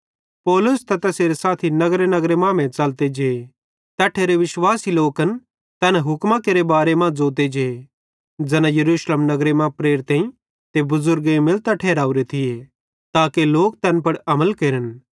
पौलुस ते तैसेरे साथी नगरनगरे मांमेइं च़लते जे तैट्ठेरे विश्वासी लोकन तैना हुक्मां केरे बारे मां ज़ोंते जे ज़ैना यरूशलेम नगरे मां प्रेरितेईं ते बुज़ुर्गेईं मिलतां ठहरावरे थिये ताके लोक तैन पुड़ अमल केरन